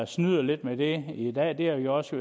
snyder lidt med det i dag og det har vi også